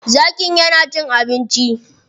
Zakin ya na cin abinci.